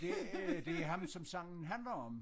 Det er det ham som sangen handler om